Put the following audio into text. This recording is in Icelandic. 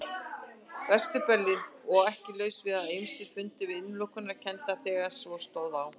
Vestur-Berlín og ekki laust við að ýmsir fyndu til innilokunarkenndar þegar svo stóð á.